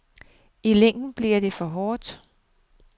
I længden blev det for hårdt.